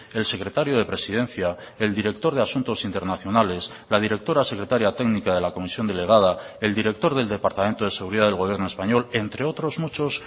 el secretario de presidencia el director de asuntos internacionales la directora secretaria técnica de la comisión delegada el director del departamento de seguridad del gobierno español entre otros muchos